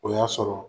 O y'a sɔrɔ